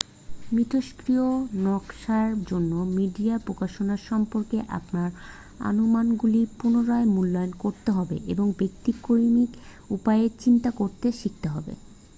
মিথষ্ক্রিয় নকাশার জন্য মিডিয়া প্রকাশনা সম্পর্কে আপনার অনুমানগুলি পুনরায় মূল্যায়ন করতে হবে এবং ব্যতিক্রমী উপায়ে চিন্তা করতে শিখতে হবে